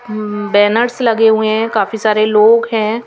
उम्म banners लगे हुए हैं काफी सारे लोग है।